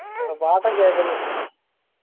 കേക്കുന്നു